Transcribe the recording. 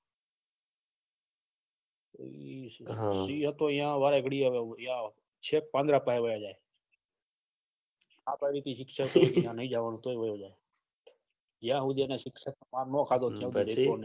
સિહ હતો ઈયા વારે ઘડીએ હવે ચેક પાંજરા પાહે વાય જાયે હાથ વાળા એ t shirt ખેચી લીધી નહી નહી જવાન તોય વાયો જાયે યા હુજેને શિક્ષક